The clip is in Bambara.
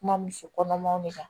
Kuma muso kɔnɔmaw de kan